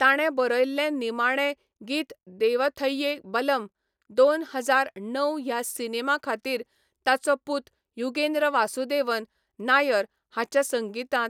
ताणें बरयल्लें निमाणें गीत देवथैये बलम, दोन हजार णव ह्या सिनेमा खातीर, ताचो पूत युगेन्द्र वासुदेवन नायर हाच्या संगीतांत.